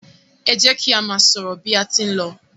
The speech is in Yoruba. e jẹ ki a má sọrọ bi a tí n ló